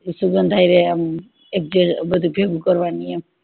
સુગંધ હયેર આમ એક જે ભેગું કરવાની